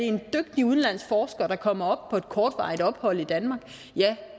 en dygtig udenlandsk forsker der kommer på et kortvarigt ophold i danmark